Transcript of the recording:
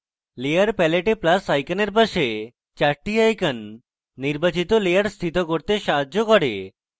layer প্যালেটে plus আইকনের palette চারটি icons নির্বাচিত layer স্থিত করতে সাহায্য করে